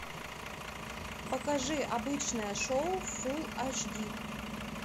покажи обычное шоу фул аш ди